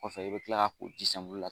Kɔfɛ i bɛ kila ka ko ji la.